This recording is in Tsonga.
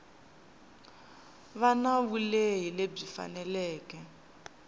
va na vulehi lebyi faneleke